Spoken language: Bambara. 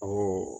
Ɔ